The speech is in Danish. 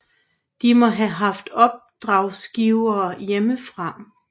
De må have haft opdragsgivere hjemmefra